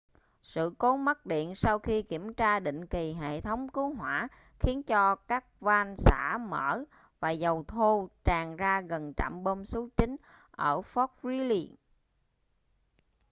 sự cố mất điện sau khi kiểm tra định kỳ hệ thống cứu hỏa khiến cho các van xả mở và dầu thô tràn ra gần trạm bơm số 9 ở fort greely